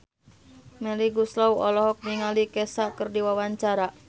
Melly Goeslaw olohok ningali Kesha keur diwawancara